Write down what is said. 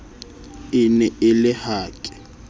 e ne e le hake